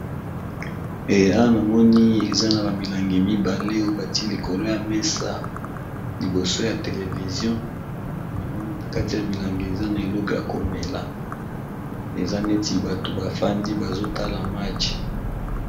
Eh awa namoni eza na bamilangi mibale oye bati likolo ya mesa liboso ya televizio namoni na kati ya milangi eza na eleko ya komela eza neti bato bafandi bazotala match.